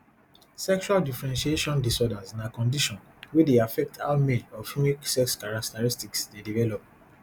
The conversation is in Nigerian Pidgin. sexual differentiation disorders na condition wey dey affect how male or female sex characteristics dey develop